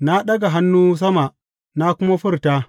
Na ɗaga hannu sama na kuma furta.